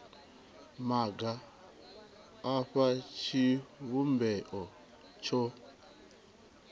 maga a fha tshivhumbeo tsho